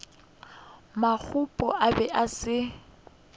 mokopu a bego a se